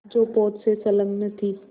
जो पोत से संलग्न थी